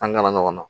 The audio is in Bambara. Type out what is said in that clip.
An ŋana ɲɔgɔn na